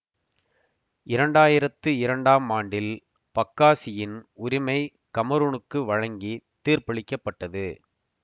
இரண்டாயிரத்தி இரண்டாம் ஆண்டில் பக்காசியின் உரிமை கமரூனுக்கு வழங்கித் தீர்ப்பளிக்கப்பட்டது